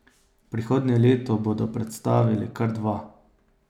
Prihodnje leto bodo predstavili kar dva.